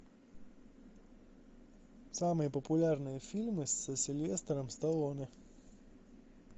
самые популярные фильмы с сильвестром сталлоне